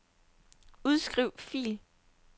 Udskriv fil.